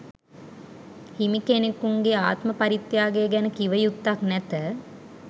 හිමිකෙනෙකුන්ගේ ආත්ම පරිත්‍යාගය ගැන කිවයුත්තක් නැත